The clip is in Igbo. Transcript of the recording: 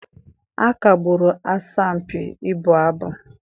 A kagburu asọmpi ịbụ abụ.